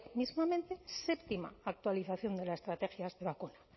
mismamente séptima actualización de la estrategia de vacunas